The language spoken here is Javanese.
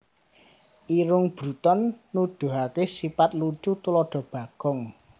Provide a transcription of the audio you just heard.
Irung Bruton Nuduhaké sipat lucu tuladha Bagong